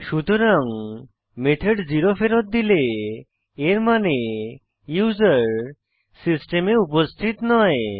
সুতরাং মেথড 0 ফেরৎ দিলে এর মানে ইউসার সিস্টেমে উপস্থিত নয়